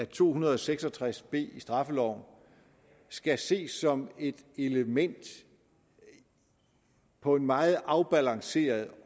to hundrede og seks og tres b i straffeloven skal ses som et element på en meget afbalanceret